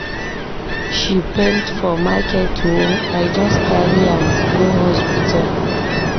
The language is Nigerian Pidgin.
She faint for market o, I just carry am go hospital.